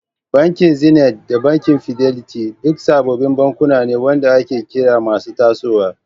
Bankin Zenith da banki Fidelity duk suna sababbin bankuna waɗanda ake kira masu tasowa.